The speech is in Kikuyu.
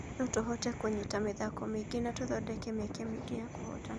Notũhote kũnyita mĩ thako mĩ ingĩ na tũthondeke mĩ eke mĩ ingĩ ya kũhotana.